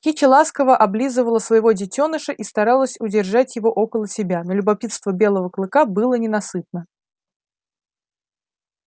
кичи ласково облизывала своего детёныша и старалась удержать его около себя но любопытство белого клыка было ненасытно